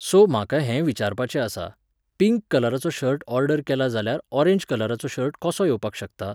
So, म्हाका हें विचारपाचें आसा, पिंक कलराचो शर्ट ऑर्डर केला जाल्यार ऑरेंज कलराचो शर्ट कसो येवपाक शकता?